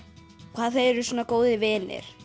hvað þau eru góðir vinir